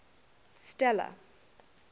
stella